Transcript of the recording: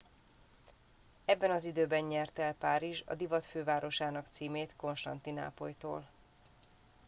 ebben az időben nyerte el párizs a divat fővárosának címét konstantinápolytól